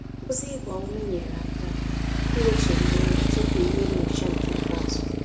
Ozi ịgba ume nyere aka iwetu mmụọ ya tupu ihe nnyocha nke ikpeazu